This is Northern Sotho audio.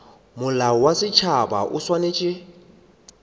molao wa setšhaba o swanetše